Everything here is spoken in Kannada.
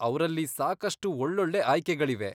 ಅವ್ರಲ್ಲಿ ಸಾಕಷ್ಟು ಒಳ್ಳೊಳ್ಳೆ ಆಯ್ಕೆಗಳಿವೆ.